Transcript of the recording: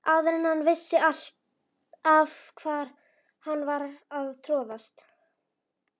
Áður en hann vissi af var hann farinn að troðast.